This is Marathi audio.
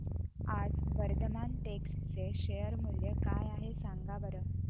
आज वर्धमान टेक्स्ट चे शेअर मूल्य काय आहे सांगा बरं